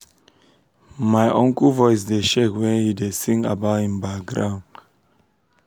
my uncle voice dey shake when he da sing about him baground